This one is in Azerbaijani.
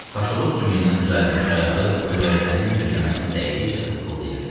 Kaşalot sümüyündən düzəldilmiş ayağı göyərtənin döşəməsinə dəydikcə taqqıldayırdı.